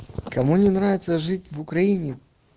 кому не нравится жить в украине